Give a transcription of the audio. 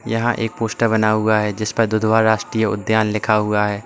यहां एक पोस्टर बना हुआ है जिस पर दुधवा राष्ट्रीय उद्यान लिखा हुआ है।